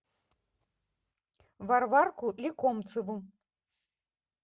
варварку лекомцеву